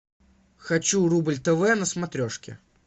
хочу рубль тв на смотрешке